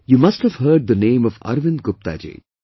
You must have heard the name of Arvind Gupta ji